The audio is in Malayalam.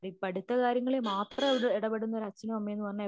പഠിത്ത കാര്യങ്ങളിൽ മാത്രം എടപെടുന്ന ഒരു അച്ഛനും അമ്മയും എന്നുപറഞ്ഞാൽ